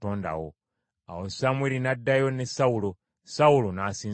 Awo Samwiri n’addayo ne Sawulo, Sawulo n’asinza Mukama .